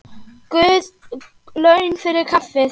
Guð laun fyrir kaffið.